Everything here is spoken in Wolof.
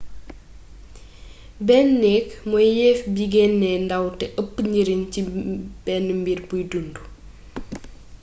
benn néék mooy yeef bi geenee ndaw té eepp njariñ ci benn mbir buy dund